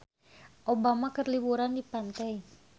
Obama keur liburan di pantai